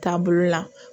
Taabolo la